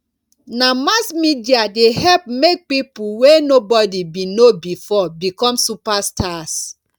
na mass media dey help make people wey nobody been know before become superstars